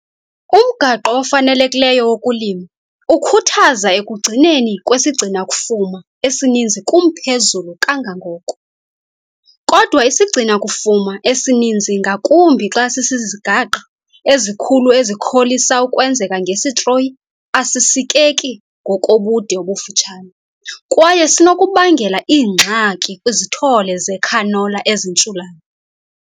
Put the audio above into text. Umgaqo ofanelekileyo wokulima ukhuthaza ukugcineka kwesigcina-kufuma esininzi kumphezulu kangangoko, kodwa isigcina-kufuma esininzi ngakumbi xa sizizigaqa ezikhulu ezikholisa ukwenzeka ngesitroyi asisikeki ngokobude obufutshane, kwaye sinokubangela iingxaki kwizithole zecanola ezintshulayo.